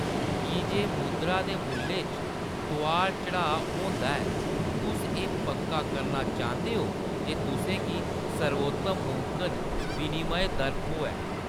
की जे मुद्रा दे मुल्लै च तोआर - चढ़ाऽ होंदा ऐ, तुस एह्‌‌ पक्का करना चांह्‌‌‌दे ओ जे तु'सें गी सर्वोत्तम मुमकन विनिमय दर थ्होए।